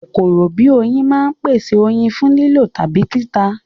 Kòkòrò bíi oyin máa ń pèsè oyin fún lílò tàbí títà